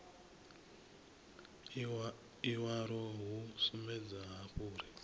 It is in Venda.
iwalo hu sumbedza hafhu uri